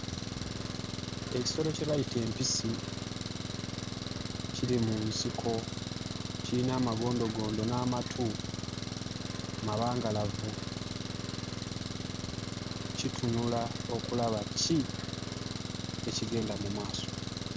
Ekisolo kye bayita empisi kiri mu nsiko kiyina amagondogondo n'amatu mabangalavu, kitunula okulaba ki ekigenda mu maaso.